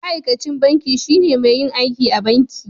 Ma'aikacin banki shine mai yin aiki a banki.